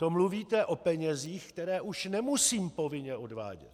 To mluvíte o penězích, které už nemusím povinně odvádět.